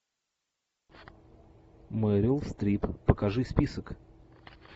мерил стрип покажи список